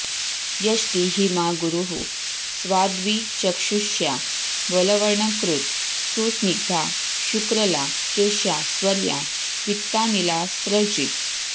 यष्टी हिमा गुरुः स्वाद्वी चक्षुष्या बलवर्णकृत् सुस्निग्धा शुक्रला केश्या स्वर्या पित्तानिलास्रजित्